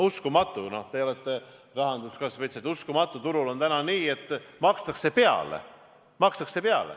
Uskumatu , aga turul on täna nii, et makstakse peale.